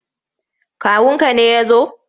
Kawunka ne ya zo?